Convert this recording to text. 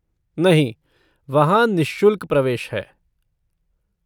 नहीं, वहाँ निःशुल्क प्रवेश है।